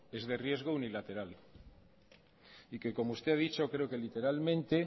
es de riesgo unilateral y que como usted ha dicho creo que literalmente